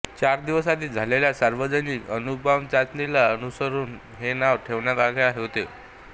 चार दिवस आधी झालेल्या सार्वजनिक अणुबॉम्ब चाचणीला अनुसरून हे नाव ठेवण्यात आले होते